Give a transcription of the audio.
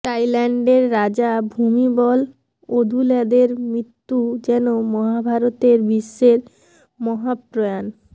তাইল্যান্ডের রাজা ভুমিবল অদুল্যাদের মৃত্যু যেন মহাভারতের ভীষ্মের মহাপ্রয়াণ